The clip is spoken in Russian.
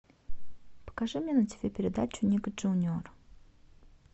покажи мне на тиви передачу ник джуниор